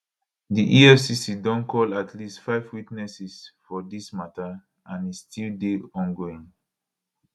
di efcc don call at least five witnesses for dis mata and e still dey ongoing